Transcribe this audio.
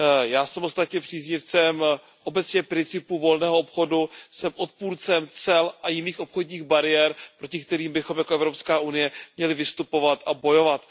Já jsem ostatně příznivcem obecně principů volného obchodu, jsem odpůrcem cel a jiných obchodních bariér, proti kterým bychom jako Evropská unie měli vystupovat a bojovat.